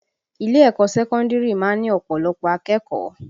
Ilé ẹ̀kọ́ sẹ́kọ́ndìrì má ń ní ọ̀pọ̀lọpọ̀ akẹ́kọ̀ọ́